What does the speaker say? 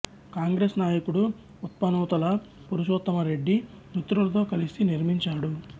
కాంగ్రెస్ నాయకుడు ఉప్పునూతల పురుషోత్తమ రెడ్డి మిత్రులతో కలిసి నిర్మించాడు